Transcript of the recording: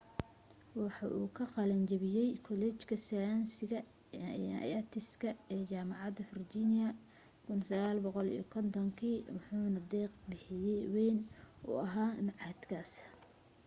waxa uu ka qalan jabiyay kuleejka sayniska & artiska ee jaamacada virginia 1950 kii wuxuna deeq bixye wayn u ahaa machadkaas